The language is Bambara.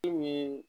Kulu min